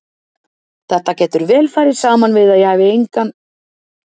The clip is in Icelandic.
Þetta getur vel farið saman við að ég hafi engin efni á að kaupa húsið.